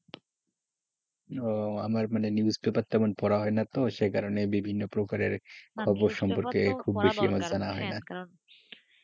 ও আমার মানে news paper টা পড়া হয়না তো সেই কারণে খবর সম্পর্কে খুব বেশি আমার জানা হয় না,